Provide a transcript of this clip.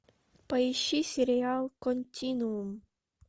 поищи сериал континуум